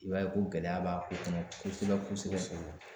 I b'a ye ko gɛlɛya b'a ko kɔnɔ kosɛbɛ kosɛbɛ.